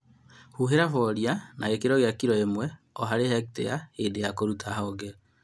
Hũhĩra bolia na gĩkĩro kia kilo ĩmwe o harĩ hektĩa hĩndĩ ya kũruta honge